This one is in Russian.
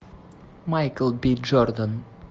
майкл б джордан